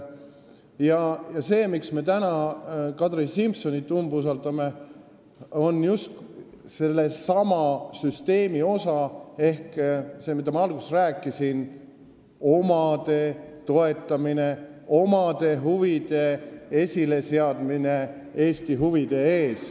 Põhjus, miks me täna Kadri Simsonit umbusaldame, on just sellesama süsteemi osa ehk see, mida ma alguses rääkisin: omade toetamine, oma huvide eelistamine Eesti huvidele.